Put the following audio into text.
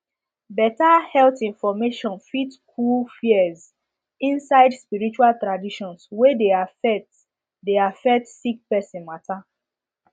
better health information fit cool fears inside spirtual traditions wey de affect de affect sick person matter